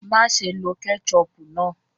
Maṣé ló kẹ́chọpù náà!